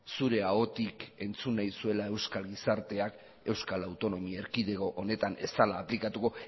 zure ahotik entzun nahi zuela euskal gizarteak euskal autonomia erkidego honetan ez dela aplikatuko